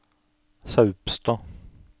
Saupstad